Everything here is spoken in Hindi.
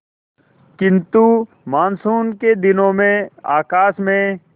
किंतु मानसून के दिनों में आकाश में